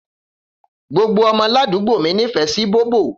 Gbogbo ọmọ làdúgbó mí nífẹ̀ sí bóbò.